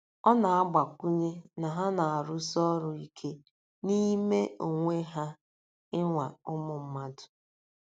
Ọ na-agbakwụnye na ha na-arụsi ọrụ ike n'ime onwe ha ịnwa ụmụ mmadụ.